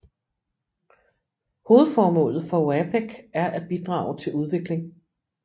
Hovedformålet for OAPEC er at bidrage til udvikling